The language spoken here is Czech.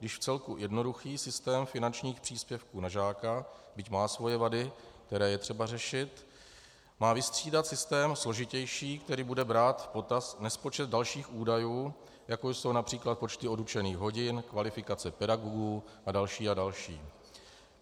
Již vcelku jednoduchý systém finančních příspěvků na žáka, byť má svoje vady, které je třeba řešit, má vystřídat systém složitější, který bude brát v potaz nespočet dalších údajů, jako jsou například počty odučených hodin, kvalifikace pedagogů a další a další.